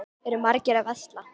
Eru margir að versla?